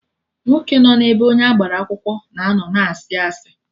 Nwoke nọ n'ebe onye agbara akwụkwọ na-ano na asị asị